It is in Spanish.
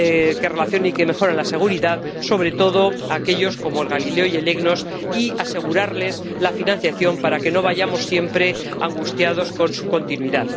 que relacionan y que mejoran la seguridad, sobre todo aquellos como Galileo y EGNOS, y asegurarles la financiación para que no vayamos siempre angustiados con su continuidad.